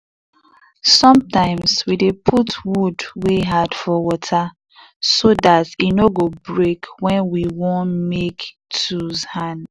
sometimes we dey put wood wey hard for water so dat e no go break wen we want make tools hand.